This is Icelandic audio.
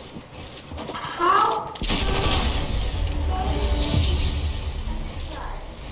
Hátt að kvöldi klukkan slær.